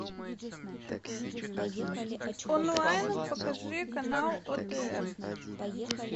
онлайн покажи канал отр